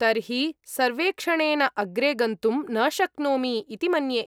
तर्हि सर्वेक्षणेन अग्रे गन्तुं न शक्नोमि इति मन्ये।